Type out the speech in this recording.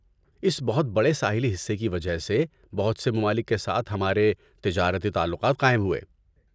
اس بہت بڑے ساحلی حصے کی وجہ سے بہت سے ممالک کے ساتھ ہمارے تجارتی تعلقات قائم ہوئے۔